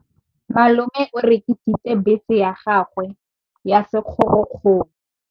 Malome o rekisitse bese ya gagwe ya sekgorokgoro.